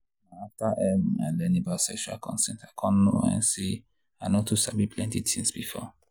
na after um i learn about sexual consent i come know um say i no too know plenty things before.